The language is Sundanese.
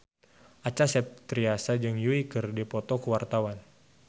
Acha Septriasa jeung Yui keur dipoto ku wartawan